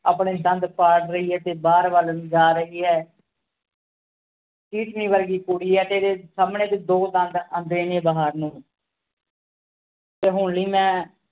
ਆਪਣੇ ਦੰਦ ਪਾੜ ਰਹੀ ਹੈ ਤੇ ਬਾਹਰ ਵੱਲ ਨੂੰ ਜਾ ਰਹੀ ਹੈ ਵਰਗੀ ਕੁੜੀ ਏ ਤੇ ਏਦੇ ਸਾਮਣੇ ਦੇ ਦੋ ਦੰਦ ਆਂਦੇ ਨੀ ਏ ਬਾਹਰ ਨੂੰ ਤੇ ਹੁਣ ਲਈ ਮੈ